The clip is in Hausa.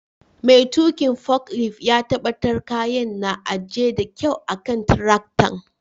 Mai tukin foklift ya tabatar kayan na ajie da kyau a'kan tiraktan.